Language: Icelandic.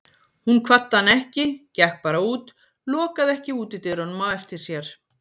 Hún kvaddi hann ekki, gekk bara út, lokaði ekki útidyrunum á eftir sér.